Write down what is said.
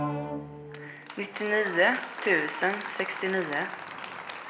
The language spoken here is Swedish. nittionio tusen sextionio